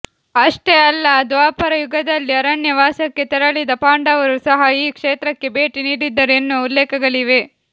ಅಷ್ಟೇ ಅಲ್ಲ ದ್ವಾಪರಯುಗದಲ್ಲಿ ಅರಣ್ಯವಾಸಕ್ಕೆ ತೆರಳಿದ ಪಾಂಡವರು ಸಹ ಈ ಕ್ಷೇತ್ರಕ್ಕೆ ಭೇಟಿ ನೀಡಿದ್ದರು ಎನ್ನುವ ಉಲ್ಲೇಖಗಳಿವೆ